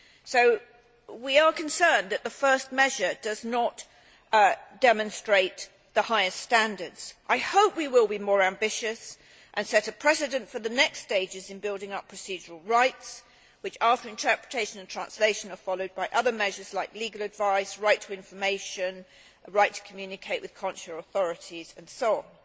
So we are concerned that the first measure does not demonstrate the highest standards. I hope we will be more ambitious and set a precedent for the next stages in building up procedural rights which, after interpretation and translation, are followed by other measures like legal advice, right to information, right to communicate with consular authorities and so on.